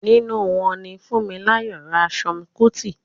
nínú wọn ni Funmilayo Ransome Kuti.